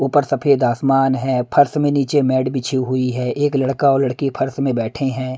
ऊपर सफेद आसमान है फर्श में नीचे मैड बिछी हुई है एक लड़का और लड़की फर्श में बैठे हैं।